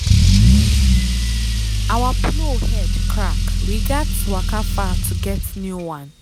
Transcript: our plow head crack we gats waka far to get new one.